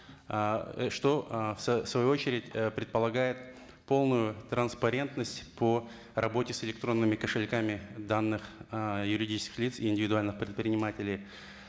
ыыы что ы в свою очередь предпологает полную транпарентность по работе с электронными кошельками данных ыыы юридических лиц и индивидуальных предпринимателей